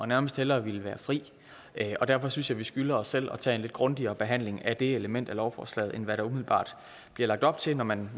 nærmest hellere være fri derfor synes jeg vi skylder os selv at tage en lidt grundigere behandling af det element af lovforslaget end hvad der umiddelbart bliver lagt op til når man